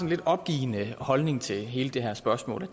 lidt opgivende holdning til hele det her spørgsmål og